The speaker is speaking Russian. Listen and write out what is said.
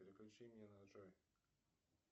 переключение на джой